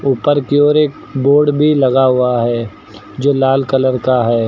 ऊपर की ओर एक बोर्ड भी लगा हुआ है जो लाल कलर का है।